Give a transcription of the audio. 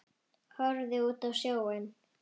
Horfði út á sjóinn.